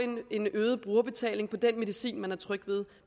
en øget brugerbetaling på den medicin man er tryg ved